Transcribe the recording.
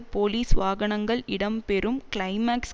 police வாகனங்கள் இடம் பெறும் கிளைமாக்ஸ்